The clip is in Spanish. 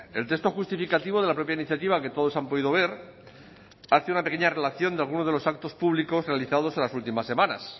el texto justificativo de la propia iniciativa que todos han podido ver hace una pequeña relación de alguno de los actos públicos realizados en las últimas semanas